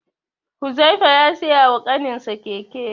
Huzaifa ya siya wa kaninsa keke.